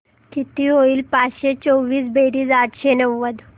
किती होईल पाचशे चोवीस बेरीज आठशे नव्वद